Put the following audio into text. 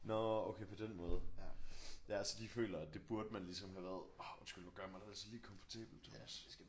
Nårh okay på den måde ja så de føler at det burde man ligesom have været orh undskyld nu gør jeg mig det altså lige komfortabelt